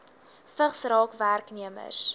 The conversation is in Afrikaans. vigs raak werknemers